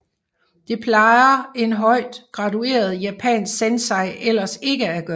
Det plejer en højt gradueret japansk sensei ellers ikke at gøre